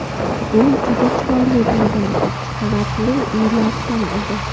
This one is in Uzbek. Uy juda chiroyli bo‘lgan, ikki qavatli uylar kam edi.